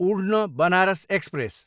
उढ्न, Banaras express